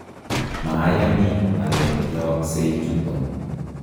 mayani ale yooksei chuto